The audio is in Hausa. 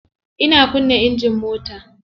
Ina kunna engine mota.